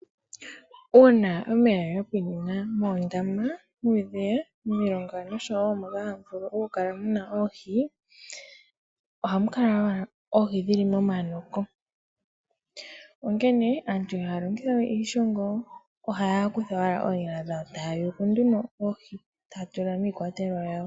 Uuna omeya ga pwinina moondama, muudhiya, momilonga oshowo moka hamu vulu okukala mu na oohi, ohamu kala owala oohi dhi li momanoko, onkene aantu ihaya longitha we iishongo ohaya kutha owala oonyala dhawo taya yuku nduno oohi taya tula miikwatelwa yawo.